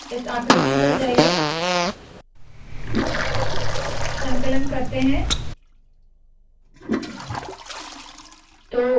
तो इस आकृति पर जाइए संकलन करते है